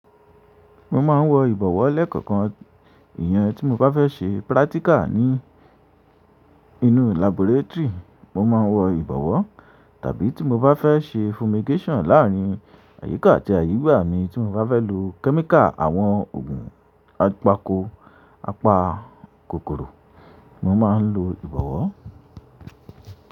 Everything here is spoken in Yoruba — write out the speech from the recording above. Mo máa ń wọ ìbọ̀wọ́ lẹ́kọ̀ọ̀kan. Ìyẹn tí mo bá fẹ́ ṣe practical ní inú laboratory, mo máa ń wọ ìbọ̀wọ́. Tàbí tí mo bá fẹ́ ṣe fumigation láàárín àyíká àti àyígbà mi, tí mo bá fẹ́ lo chemical àwọn òògùn apako apa kòkòrò, mo máa ń lo ìbọ̀wọ́.